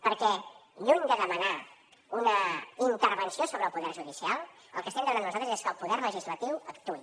perquè lluny de demanar una intervenció sobre el poder judicial el que estem demanant nosaltres és que el poder legislatiu actuï